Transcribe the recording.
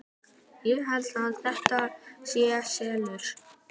Ég held að þetta sé SELUR!